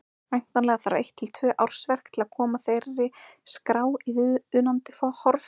Væntanlega þarf eitt til tvö ársverk til að koma þeirri skrá í viðunandi horf.